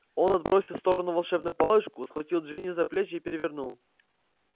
он отбросил в сторону волшебную палочку схватил джинни за плечи и перевернул